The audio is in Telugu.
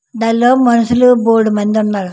నదిలో మనుషులు బోలెడు మంది ఉన్నారు.